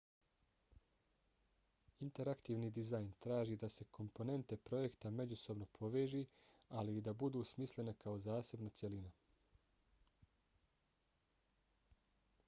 interaktivni dizajn traži da se komponente projekta međusobno poveži ali i da budu smislene kao zasebna cjelina